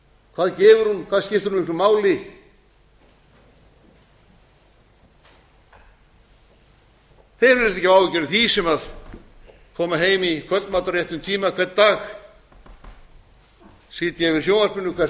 hvað gefur hún hvað skiptir hún miklu máli þeir virðist ekki hafa áhyggjur af því sem koma heim í kvöldmat á réttum tíma hvern dag sitja yfir sjónvarpinu hvert